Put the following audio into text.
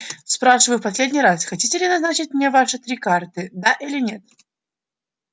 спрашиваю в последний раз хотите ли назначить мне ваши три карты да или нет